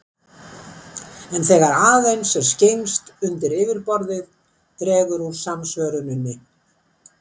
En þegar aðeins er skyggnst undir yfirborðið dregur úr samsvöruninni.